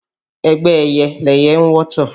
Ẹgbẹ́ ẹyẹ lẹyẹ ń wọ́tọ̀